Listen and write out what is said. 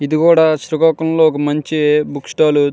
ఇది కూడా శ్రీకాకుళంలో మంచి బుక్ స్టాల్ .